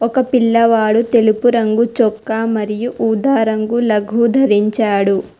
ఒక పిల్లవాడు తెలుపు రంగు చొక్కా మరియు ఉదా రంగు లగు దరించాడు.